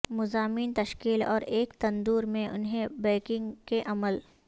مضامین تشکیل اور ایک تندور میں انہیں بیکنگ کے عمل